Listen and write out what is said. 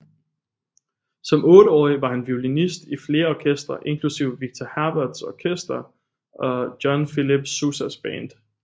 Som otteårig var han violinist i flere orkestre inklusiv Victor Herberts orkester og John Philip Sousas band